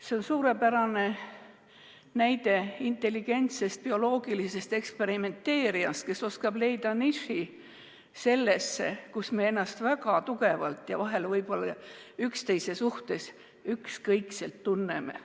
See on suurepärane näide intelligentsest bioloogilisest eksperimenteerijast, kes oskab leida niši selles, kus me ennast väga tugevalt ja vahel võib-olla üksteise suhtes ükskõikselt tunneme.